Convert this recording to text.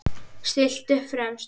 Stillt upp fremst.